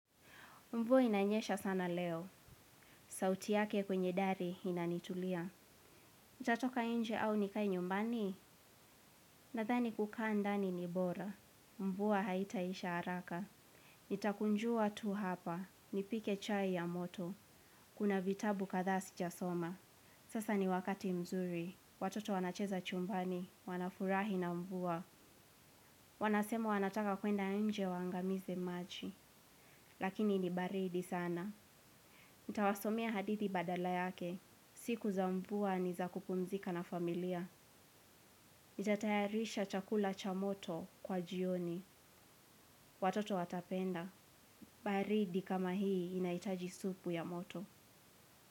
Mvua inanyesha sana leo. Sauti yake kwenye dari inanitulia. Nitatoka inje au nikae nyumbani. Nadhani kukaa ndani ni bora. Mvua haitaisha haraka. Nitakunjua tu hapa. Nipike chai ya moto. Kuna vitabu kathaa sija soma. Sasa ni wakati mzuri. Watoto wanacheza chumbani. Wanafurahi na mvua. Wanasema wanataka kwenda nje waangamize maji. Lakini ni baridi sana. Nitawasomea hadithi badala yake. Siku za mvua ni za kupumzika na familia. Nita tayarisha chakula cha moto kwa jioni. Watoto watapenda. Baridi kama hii inaitaji supu ya moto.